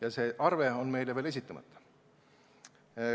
Ja arve on meile veel esitamata.